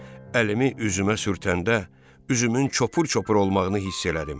Əlimi üzümə sürtəndə, üzümün çopur-çopur olmağını hiss elədim.